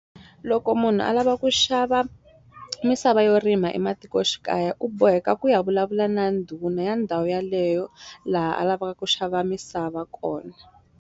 Loko munhu a lava ku xava misava yo rima ematikoxikaya u boheka ku ya vulavula na ndhuna ya ndhawu yaleyo laha a lavaka ku xava misava kona.